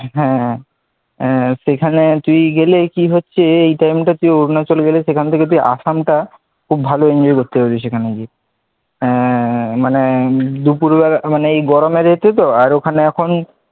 হ্যাঁ, সেখানে তুই গেলে কি হচ্ছে এই time টাই তুই অরুণাচল গেলে সেখান থেকে আসামটা খুব ভালো enjoy করতে পারবি সেখানে গিয়ে আহ মানে দুপুরবেলা মানে এই গরমের ইয়েতে তো আর ওখানে এখন,